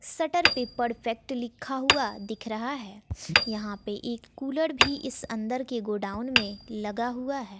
Shutter पे perfect लिखा हुआ दिख रहा है यहां पे एक कुलर भी इस अंदर के गोडाउन में लगा हुआ है।